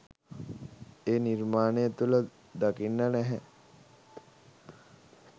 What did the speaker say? ඒ නිර්මාණ තුළ දකින්න නැහැ.